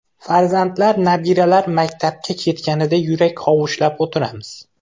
Farzandlar, nabiralar maktabga ketganida yurak hovuchlab o‘tiramiz.